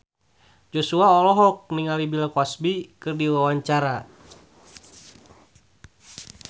Joshua olohok ningali Bill Cosby keur diwawancara